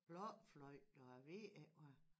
Blokfløjte og jeg ved ikke hvad